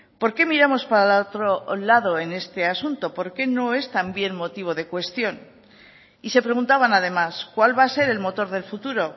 por qué miramos para otro lado en este asunto por qué no es también motivo de cuestión y se preguntaban además cuál va a ser el motor del futuro